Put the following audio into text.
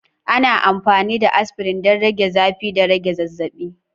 Ana amfani da aspirin don rage zafi da rage zazzabi.